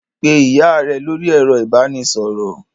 Pe ìyá rẹ lórí ẹ̀rọ ìbanisọ̀rọ̀!